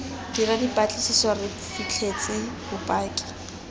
dira dipatlisiso re fitlhetse bopaki